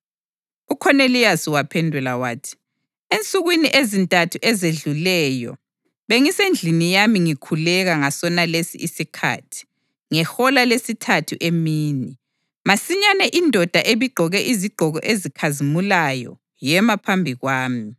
UKhoneliyasi waphendula wathi, “Ensukwini ezintathu ezedluleyo bengisendlini yami ngikhuleka ngasonalesi isikhathi, ngehola lesithathu emini. Masinyane indoda ebigqoke izigqoko ezikhazimulayo yema phambi kwami,